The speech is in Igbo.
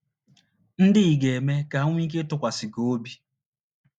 ndị ị ga - eme ka ha nwee ike ịtụkwasị gị obi?